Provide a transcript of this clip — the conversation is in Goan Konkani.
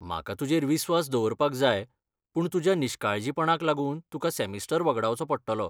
म्हाका तुजेर विस्वास दवरपाक जाय, पूण तुज्या निश्काळजीपणाक लागून तुका सॅमिस्टर वगडावचो पडटलो.